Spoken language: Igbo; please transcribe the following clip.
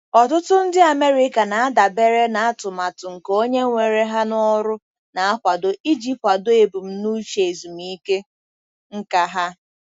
Ọtụtụ ndị America na-adabere na atụmatụ nke onye were ha n'ọrụ na-akwado iji kwado ebumnuche ezumike nka ha.